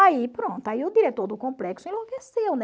Aí pronto, aí o diretor do complexo enlouqueceu, né?